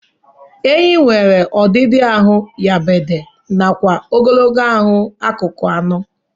Ehi nwere odịdị ahu nyapade nakwa ogologo ahu akụkụ anọ.